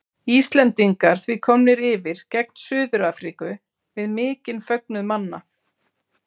Íslendingar því komnir yfir gegn Suður Afríku við mikinn fögnuð manna.